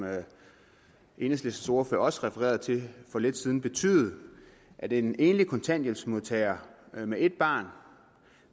enhedslistens ordfører også refererede til for lidt siden betyde at en enlig kontanthjælpsmodtager med ét barn